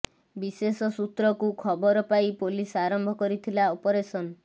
ବିଶେଷ ସୂତ୍ରକୁ ଖବର ପାଇଁ ପୋଲିସ ଆରମ୍ଭ କରିଥିଲା ଅପରେସନ୍